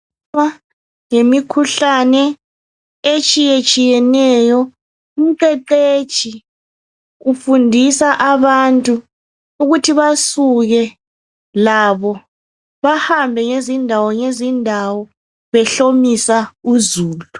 Ngemikhuhlane etshiyetshiyeneyo umqeqetshi ufundisa abantu ukuthi basuke labo bahambe ngezindawo ngezindawo behlomisa uzulu